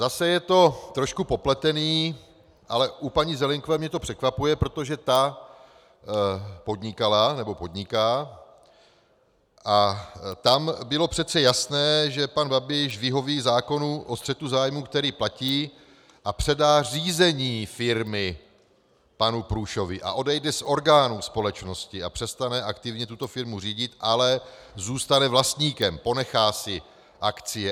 Zase je to trošku popletený, ale u paní Zelienkové mě to překvapuje, protože ta podnikala, nebo podniká, a tam bylo přece jasné, že pan Babiš vyhoví zákonu o střetu zájmů, který platí, a předá řízení firmy panu Průšovi a odejde z orgánů společnosti a přestane aktivně tuto firmu řídit, ale zůstane vlastníkem, ponechá si akcie.